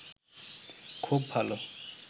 খুব ভালো